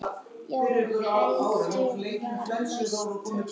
Já, Helgi var mættur.